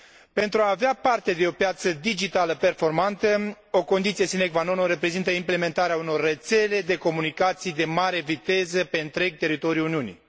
Pentru a avea parte de o piață digitală performantă, o condiție sine qua non o reprezintă implementarea unor rețele de comunicații de mare viteză pe întreg teritoriul Uniunii.